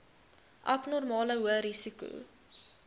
abnormale hoë risiko